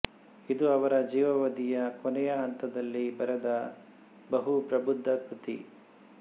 ಇದು ಅವರ ಜೀವಾವಧಿಯ ಕೊನೆಯ ಹಂತದಲ್ಲಿ ಬರೆದ ಬಹು ಪ್ರಬುದ್ದ ಕೃತಿ